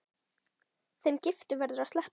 Þeim giftu verður að sleppa.